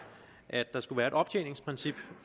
at der skal være et optjeningsprincip